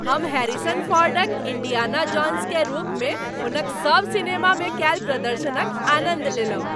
हम हैरिसन फोर्डक इंडियाना जोन्सकेँ रूपमे हुनक सभ सिनेमामे कयल प्रदर्शनक आनन्द लेलहुँ।